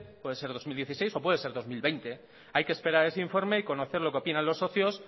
puede ser dos mil dieciséis o puede ser dos mil veinte hay que esperar a ese informe y conocer lo que opinan los socios